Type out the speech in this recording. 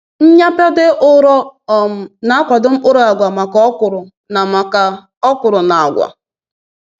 Nnyapade ụrọ um na-akwado mkpụrụ agwa maka okwuru na maka okwuru na agwa.”